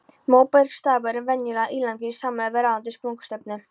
Móbergsstapar eru venjulega ílangir í samræmi við ráðandi sprungustefnu.